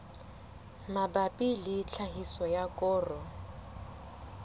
mabapi le tlhahiso ya koro